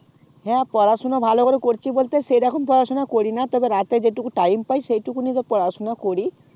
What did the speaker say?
হ্যাঁ পড়াশোনা ভালো করে করছি বলতে সেরকম পড়াশোনা করিনা তবে রাতে যেটুকু time পাই সেইটুকুনি পড়াশোনা করি